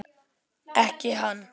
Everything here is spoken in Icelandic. Ekki hann.